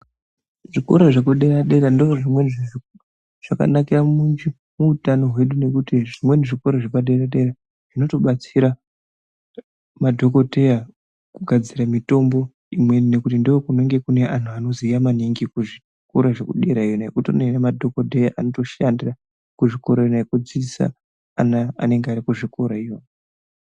Zvikora zvekudera dera ndozvimweni zvakanakira muutano hwedu nekuti zvimweni zvikora zvepadera dera zvinotobatsira madhokodheya kugadzira mitombo imweni nekuti ndokunenge kune antu anoziya maningi kuzvikora zvekudera iyoyo kutori nemadhodheya anozvishandarira kuzvikora iyoyo kudzidzisa ana anenge arikuzvikora kona iyoyo.